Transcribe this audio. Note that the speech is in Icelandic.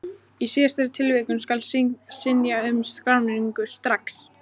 Í síðari tilvikinu skal synja um skráningu strax.